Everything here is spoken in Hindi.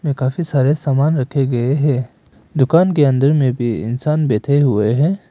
काफी सारे सामान रखें गए है दुकान के अंदर में भी इंसान बैठे हुए हैं।